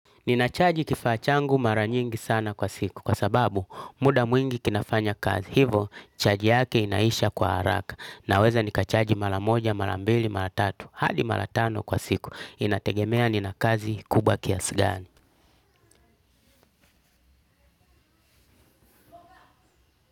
Nina chaji kifaa changu mara nyingi sana kwa siku kwa sababu muda mwingi kinafanya kazi. Hivo chaji yake inaisha kwa haraka. Naweza nikachaji mara moja, mara mbili, mara tatu. Hadi mara tano kwa siku. Inategemea nina kazi kubwa kiasi gani.